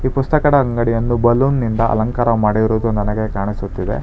ಈ ಪುಸ್ತಕದ ಅಂಗಡಿಯನ್ನು ಬಲುನಿ ನಿಂದ ಅಲಂಕಾರ ಮಾಡಿರೋದು ನನಗೆ ಕಾಣಿಸುತ್ತಿದೆ.